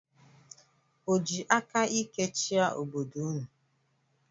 O ji aka ike chịa obodo ụnụ?